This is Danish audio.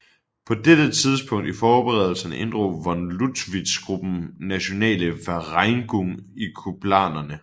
På dette tidspunkt i forberedelserne inddrog von Lüttwitz gruppen Nationale Vereinigung i kupplanerne